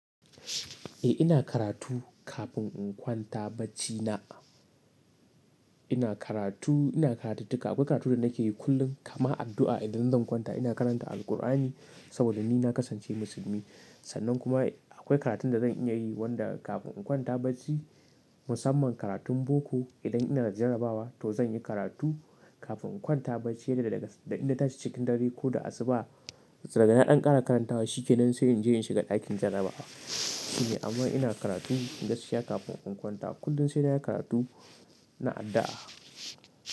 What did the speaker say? Eh ina karatu kafin in kwanta bacina. Ina karatu, ina karatuttuka. Akwai karatu da nake yi kullum kamar addu'a idan zan kwanta ina karanta Alkur'ani saboda ni na kasance musulmi. Sannan kuma akwai karatun da zan iya yi wanda kafin in kwanta bacci musamman karatun boko idan ina jarabawa to zan yi karatu kafin in kwanta bacci yadda da inda ta ci cikin dare ko da asuba. Dagana ɗan kara karantawa shikenan sai in je in shiga ɗakin jarabawa. Amma ina karatu gaskiya kafin in kwanta kullum sainayi karatu na addu'a.